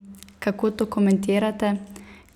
Kako to komentirate?